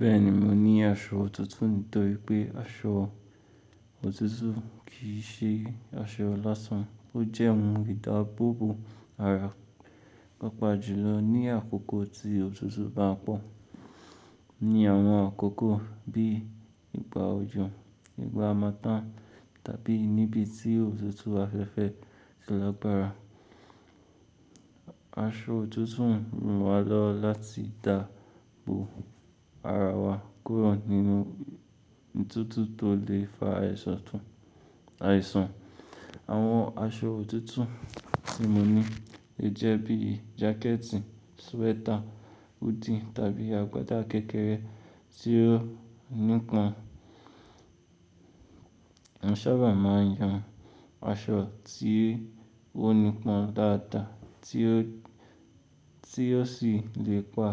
Bẹ́ẹ̀ni, mo ní aṣọ òtútù nítorí pé aṣọ òtútù kì í ṣe aṣọ lásán. Ó jẹ́ ohun ìdábòbò ara papa jùlọ ní àkókò tí òtútù bá pọ̀. Ni àwọn àkókò bí ìgbà òjò, ìgbà hamartan tàbí níbí tí òtútù afẹ́fẹ́ ti lágbára, aṣọ òtútù ń ran wa lowo láti gba ihoho ara wa kúrò nínú òtútù tó lè fa àìsàn. Àwọn aṣọ òtútù tí mo ní, lè jẹ́ bíi jákẹ́ẹ̀tì, swẹ́tà, huddy tàbí agbada kékeré tí ó nípọn. Mo sábà máa ń yan aṣọ tí ó nípọn dáadáa tí ó sì lè pa